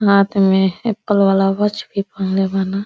हाथ में एप्पल वाला वॉच भी पहीनले बान।